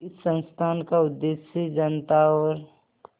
इस संस्थान का उद्देश्य जनता और